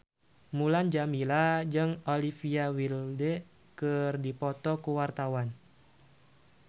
Mulan Jameela jeung Olivia Wilde keur dipoto ku wartawan